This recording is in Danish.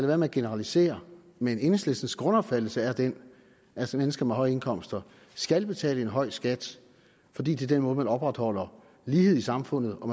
være med at generalisere men enhedslistens grundopfattelse er den at mennesker med høje indkomster skal betale en høj skat fordi det er den måde man opretholder lighed i samfundet og